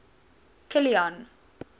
kilian